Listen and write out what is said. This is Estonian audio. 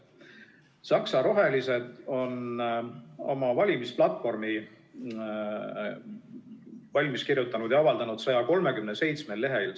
Saksa rohelised on oma valimisplatvormi valmis kirjutanud ja avaldanud 137 lehel.